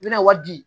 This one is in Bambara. N bɛna wari di